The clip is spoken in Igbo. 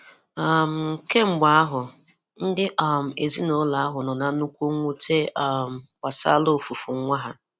um Kamgbe ahụ, ndi um ezinaụlọ ahụ nọ na nnụkwụ nwụte um gbasara ọfufu nwa ha.